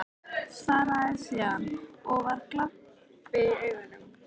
Svaraði síðan, og var glampi í augunum: